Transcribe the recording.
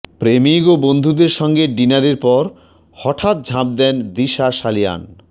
প্রেমিক ও বন্ধুদের সঙ্গে ডিনারের পর হঠাৎ ঝাঁপ দেন দিশা সালিয়ান